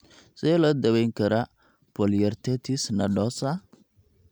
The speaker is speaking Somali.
Sidee loo daweyn karaa polyarteritis nodosa?